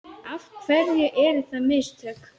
Af hverju eru það mistök?